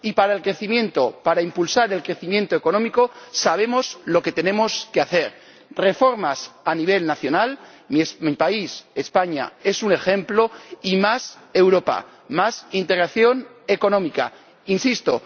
Y para el crecimiento, para impulsar el crecimiento económico, sabemos lo que tenemos que hacer reformas a nivel nacional —mi país, España, es un ejemplo— y más Europa, más integración económica, insisto.